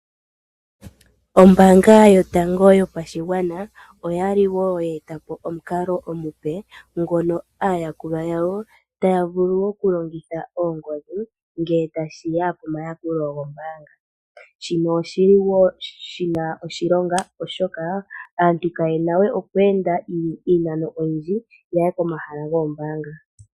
Ombaanga yotango yaNamibia oyali ye eta po omukalo omupe, ngono aayakulwa yawo taya vulu okulongitha oongodhi, ngele tashi ya komayakulo gombaanga. Shino oshi li shi na oshilonga oshoka aantu kaye na we okweenda iinano iile opo ya ye komahala gomayakulilo goombaanga